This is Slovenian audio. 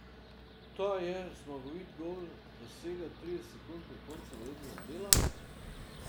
Ta je zmagoviti gol dosegel trideset sekund pred koncem rednega dela.